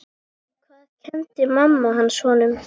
Hvað kenndi mamma hans honum?